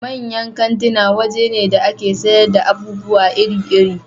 Manyan kantuna waje ne da a ke sayar da abubuwa iri iri